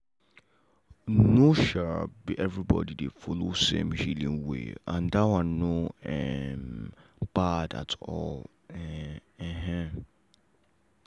no um be everybody dey follow same healing way and that one no um bad at all. um